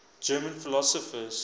german philosophers